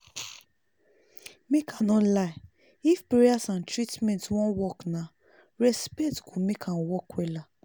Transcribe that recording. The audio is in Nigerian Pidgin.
make i no lie if prayers and treatment wan work na respect go make am work wella